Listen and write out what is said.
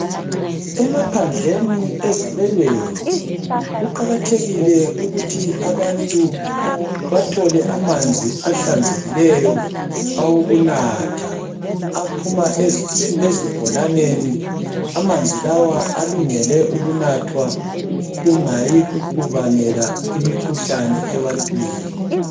Emaphandleni ezabelweni kuqakathekile ukuthi abantu bathole amanzi ahlanzekileyo awokunatha aphuma ezibholaneni amanzi lawa alungele ukunathwa kungayi kubangela imikhuhlane ebantwini.